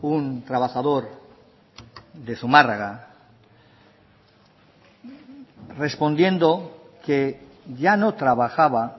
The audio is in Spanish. un trabajador de zumárraga respondiendo que ya no trabajaba